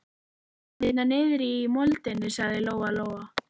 Hann er hérna niðri í moldinni, sagði Lóa Lóa.